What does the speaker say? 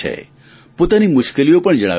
પોતાની મુશ્કેલીઓ પણ જણાવે છે